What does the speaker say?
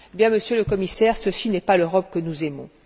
Monsieur le Commissaire, ceci n'est pas l'Europe que nous aimons.